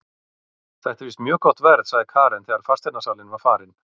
Þetta er víst mjög gott verð, sagði Karen þegar fasteignasalinn var farinn.